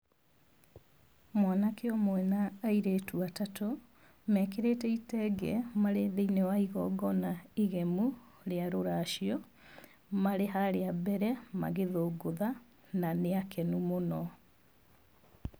Mwanake ũmwe na airĩtu atatũ, mekĩrĩte itenge marĩ thĩiniĩ wa igongona igemu rĩa rũracio. Marĩ harĩa mbere magĩthũngũtha na nĩ akenu mũno.